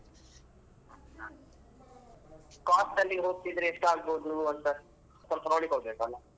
Cost ಅಲ್ಲಿ ಹೋಗತಿದ್ರೆ ಎಷ್ಟಾಗಬೋದು ಅಂತ ಸ್ವಲ್ಪ ನೋಡಿಕೊಳ್ಬೇಕಲ್ಲ.